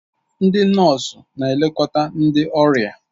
Ndị nọọsụ na-elekọta ndị ọrịa